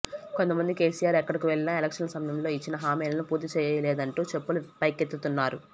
కొంతమంది కేసీఆర్ ఎక్కడకు వెళ్ళినా ఎలక్షన్ల సమయంలో ఇచ్చిన హామీలను పూర్తిచేయలేదంటూ చెప్పులు పైకెత్తుతున్నారు